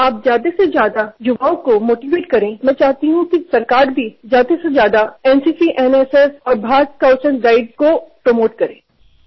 आपण जास्तीत जास्त युवकांना प्रोत्साहित करावे अशी माझी इच्छा आहे आणि सरकारनेही एनसीसी एनएसएस आणि भारत स्काऊटस् अँड गाईडस्ला प्रोत्साहन द्यावे